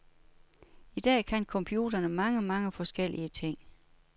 I dag kan computerne mange, mange forskellige ting.